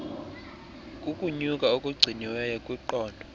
kukunyuka okugciniweyo kwiqondo